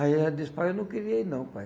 Aí ela disse, pai, eu não queria ir não, pai.